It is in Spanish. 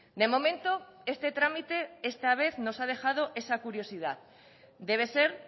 de momento este trámite esta vez nos ha dejado esa curiosidad debe ser